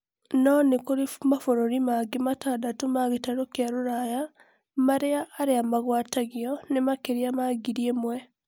no nĩkurĩ mabũrũri mangĩ matandatũ ma gĩtarũ kia rũraya, maria aria magwatĩtio ni makĩria ma ngiri ĩmwe